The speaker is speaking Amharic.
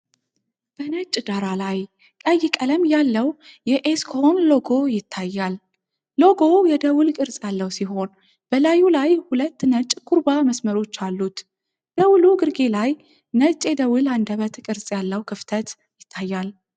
በነጭ ዳራ ላይ ቀይ ቀለም ያለው የኤስኮን ሎጎ ይታያል። ሎጎው የደወል ቅርጽ ያለው ሲሆን፣ በላዩ ላይ ሁለት ነጭ ኩርባ መስመሮች አሉት። ደወሉ ግርጌ ላይ ነጭ የደወል አንደበት ቅርጽ ያለው ክፍተት ይታያል።